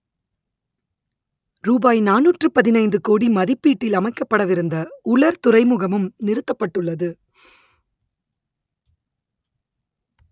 ரூபாய் நானூற்று பதினைந்து கோடி மதிப்பீட்டில் அமைக்கப்படவிருந்த உலர் துறைமுகமும் நிறுத்தப்பட்டுள்ளது